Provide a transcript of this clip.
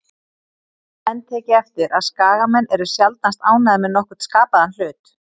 Hafa menn tekið eftir að Skagamenn eru sjaldnast ánægðir með nokkurn skapaðan hlut?